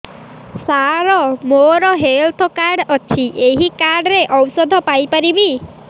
ସାର ମୋର health card ଅଛି ଏହି କାର୍ଡ ରେ ଔଷଧ ପାଇପାରିବି